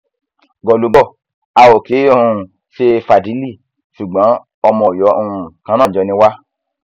gólúgò a ò kì í um ṣe fàdílì ṣùgbọn ọmọ ọyọ um kan náà jọ ni wá